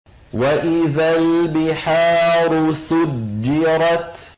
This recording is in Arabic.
وَإِذَا الْبِحَارُ سُجِّرَتْ